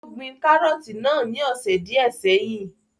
Ó gbin kárọ̀tì náà ní ọ̀sẹ̀ díẹ́ sẹ́yìn.